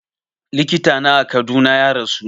Likita na a Kaduna ya rasu